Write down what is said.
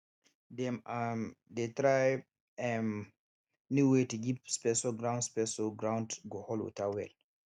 dem um dey try um new way to give space so ground space so ground go hold water well